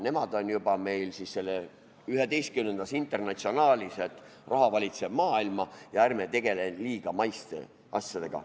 Nemad on meil juba selles 11. internatsionaalis, et raha valitseb maailma ja ärme tegeleme liiga maiste asjadega.